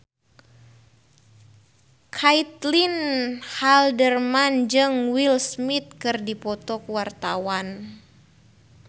Caitlin Halderman jeung Will Smith keur dipoto ku wartawan